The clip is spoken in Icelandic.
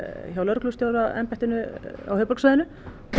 hjá lögreglustjóraembættinu á höfuðborgarsvæðinu